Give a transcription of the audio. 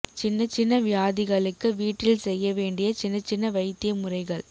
சின்ன சின்ன வியாதிகளுக்கு வீட்டில் செய்ய வேண்டிய சின்ன சின்ன வைத்திய முறைகள்